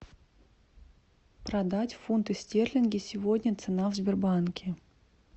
продать фунты стерлинги сегодня цена в сбербанке